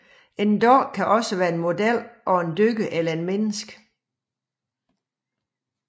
En dukke kan også være en model af et dyr eller et menneske